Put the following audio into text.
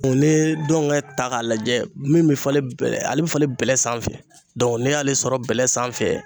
Ee ni ye dɔngɛ ta k'a lajɛ min be falen bɛ ale be falen bɛlɛ sanfɛ Dɔnku ne y'ale sɔrɔ bɛlɛ sanfɛ